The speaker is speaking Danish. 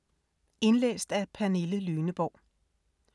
Indlæst af: